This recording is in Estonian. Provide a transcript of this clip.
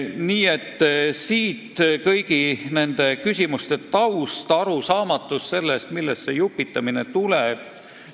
Nii et kõigi nende küsimuste taust on arusaamatus, millest see jupitamine tuleb.